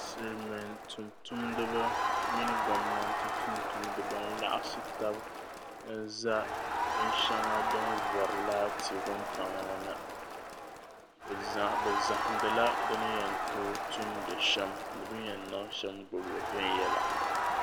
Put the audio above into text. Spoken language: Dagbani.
Silimiin tumtumdiba mini gomnanti tumtumdiba n-laɣim n ʒɛ bin shaɣu wuŋtaŋ ni tiri buɣum la gbuni bɛ zahindi la bɛ ni yantoo tumlim sham ni bini yan too gbubi lisham.